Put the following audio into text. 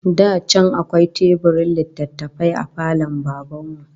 Da can akwai teburin littattafai a falon Baban mu